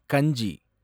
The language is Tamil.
கஞ்சி